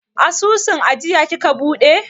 Asusun ajiya kika buɗe?